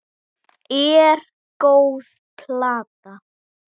er góð plata.